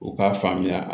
U k'a faamuya